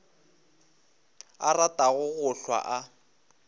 a ratago go hlwa a